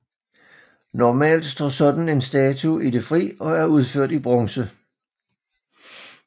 Normalt står sådan en statue i det fri og er udført i bronze